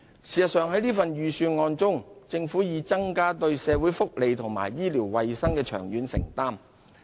事實上，在這份預算案中，政府已增加對社會福利及醫療衞生的長遠承擔。